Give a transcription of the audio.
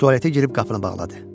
Tualetə girib qapını bağladı.